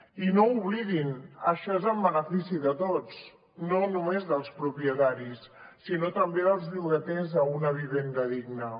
i no ho oblidin això és en benefici de tots no només dels propietaris sinó també dels llogaters a una vivenda digna